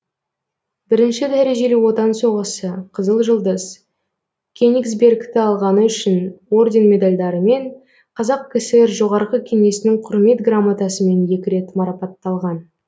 бірінші дәрежелі отан соғысы қызыл жұлдыз кенигсбергті алғаны үшін орден медальдарымен қазақ кср жоғарғы кеңесінің құрмет грамотасымен екі рет марапатталған